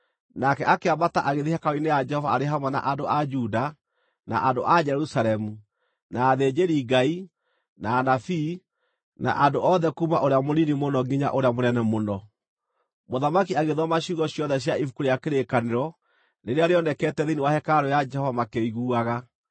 Nake akĩambata agĩthiĩ hekarũ-inĩ ya Jehova arĩ hamwe na andũ a Juda, na andũ a Jerusalemu, na athĩnjĩri-Ngai, na anabii, andũ othe kuuma ũrĩa mũnini mũno nginya ũrĩa mũnene mũno. Mũthamaki agĩthoma ciugo ciothe cia Ibuku rĩa Kĩrĩkanĩro, rĩrĩa rĩonekete thĩinĩ wa hekarũ ya Jehova makĩiguaga.